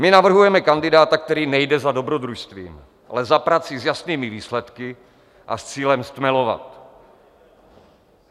My navrhujeme kandidáta, který nejde za dobrodružstvím, ale za prací s jasnými výsledky a s cílem stmelovat.